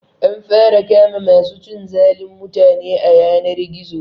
An fara kama ma su cin zalin mutane a yanar gizo